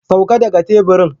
Sauka daga teburin!